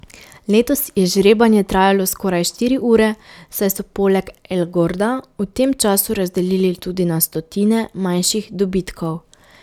Letos je žrebanje trajalo skoraj štiri ure, saj so poleg El Gorda v tem času razdelili tudi na stotine manjših dobitkov.